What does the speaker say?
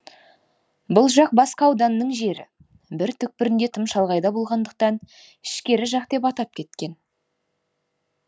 бұл жақ басқа ауданның жері бір түкпірінде тым шалғайда болғандықтан ішкері жақ деп атап кеткен